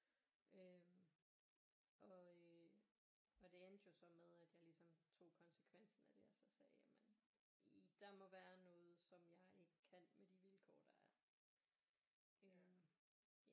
Øh og øh og det endte jo så med at jeg ligesom tog konsekvensen af det og så sagde jamen der må være noget som jeg ikke kan med de vilkår der er